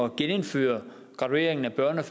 genindføre gradueringen af børne og